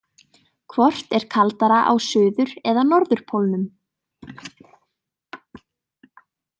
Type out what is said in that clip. Hvort er kaldara á suður- eða norðurpólnum?